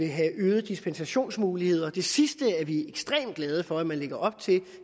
have øgede dispensationsmuligheder det sidste er vi ekstremt glade for man lægger op til